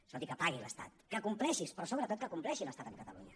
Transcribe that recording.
escolti que pagui l’estat que compleixi però sobretot que compleixi l’estat amb catalunya